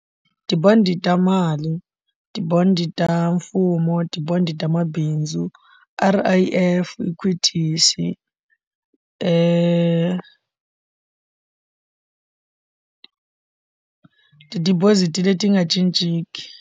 Ti-bond ta mali ti-bond ta mfumo ti-bond ta mabindzu R_I_F equities ti deposit leti nga cinciki.